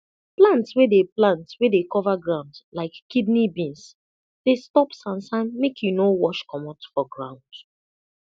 plant wey dey plant wey dey cover ground like kidney beans dey stop sansan make e no wash comot for ground